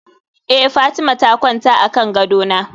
eh Fatima ta kwanta akan gadona